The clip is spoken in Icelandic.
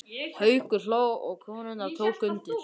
Haukur hló og konurnar tóku undir.